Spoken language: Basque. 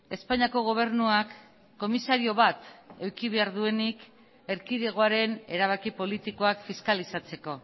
espainiako gobernuak komisario bat eduki behar duenik erkidegoaren erabaki politikoak fiskalizatzeko